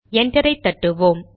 என்டரை தட்டுவோம்